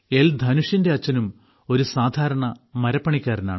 ധനുഷിന്റെ അച്ഛനും ഒരു സാധാരണ മരപ്പണിക്കാരനാണ്